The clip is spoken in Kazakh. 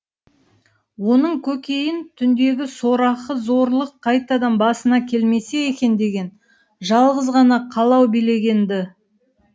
оның көкейін түндегі сорақы зорлық қайтадан басына келмесе екен деген жалғыз ғана қалау билеген ді